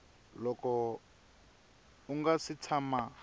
loko u nga si tshama